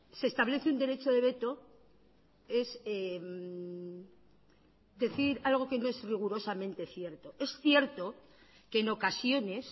se establece un derecho de veto es decir algo que no es rigurosamente cierto es cierto que en ocasiones